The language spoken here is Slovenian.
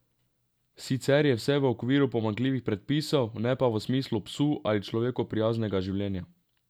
Sicer je vse v okviru pomanjkljivih predpisov, ne pa v smislu psu ali človeku prijaznega življenja.